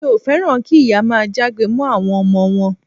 Mi ò féràn kí ìyá máa jágbe mọ́ àwọn ọmọ wọn.